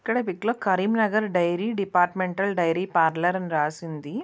ఇక్కడ పిక్ లో Karimnagar dairy departmental dairy parlour అని రాసి ఉంది.